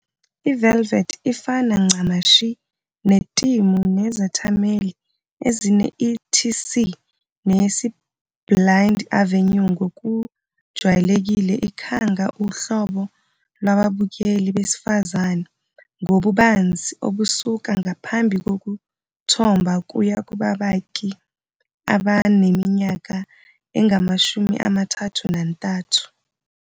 IVelvet ifana ncamashi netimu nezethameli ezine- ETC ne-yesibilind Avenue ngokujwayelekile ikhanga uhlobo lwababukeli besifazane ngobubanzi obusuka ngaphambi kokuthomba kuya kubakaki abaneminyaka engamashumi amathathu nantathu.